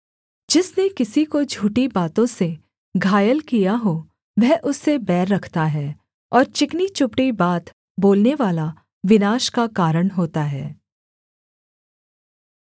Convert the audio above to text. जिसने किसी को झूठी बातों से घायल किया हो वह उससे बैर रखता है और चिकनी चुपड़ी बात बोलनेवाला विनाश का कारण होता है